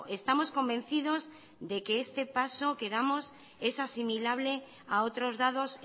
estamos convencidos de que este paso que damos es asimilable a otros dados